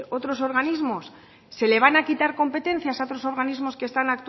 otros organismos se le van a quitar competencias a otros organismos que están